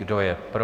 Kdo je pro?